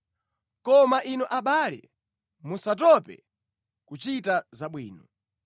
Koma inu abale, musatope nʼkuchita zabwino.